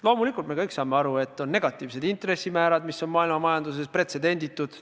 Loomulikult me kõik saame aru, et on negatiivsed intressimäärad, mis on maailmamajanduses pretsedenditud.